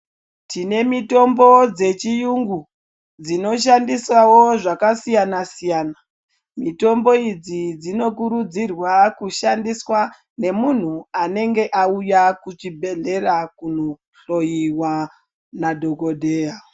Tine mitombo dze chiyungu dzino shandisawo zvaka siyana siyana mitombo idzi dzino kurudzirwa ku shandiswa ne munhu anenge auya ku chibhedhlera kuno hloyiwa na dhokodheya.